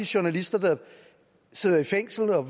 journalister sidder i fængsel og at